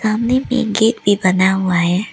सामने में एक गेट भी बना हुआ है।